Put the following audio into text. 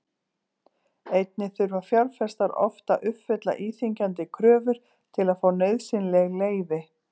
Einnig þurfa fjárfestar oft að uppfylla íþyngjandi kröfur til að fá nauðsynleg leyfi.